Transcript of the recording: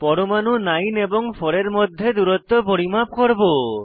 পরমাণু 9 এবং 4 এর মধ্যে দূরত্ব পরিমাপ করব